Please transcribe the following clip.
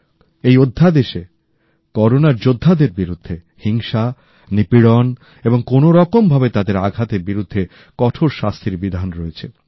এই অধ্যাদেশে করোনার যোদ্ধাদের বিরুদ্ধে হিংসা নিপীড়ন এবং কোনওরকমভাবে তাদের আঘাতের বিরুদ্ধে কঠোর শাস্তির বিধান রয়েছে